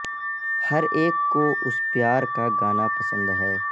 ہر ایک کو اس پیار کا گانا پسند ہے